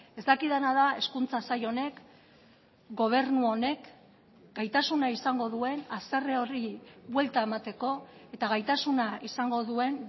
ez dakidana da hezkuntza sail honek gobernu honek gaitasuna izango duen haserre horri buelta emateko eta gaitasuna izango duen